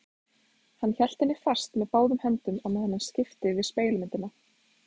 Hann hélt henni fast með báðum höndum á meðan hann skipti við spegilmyndina.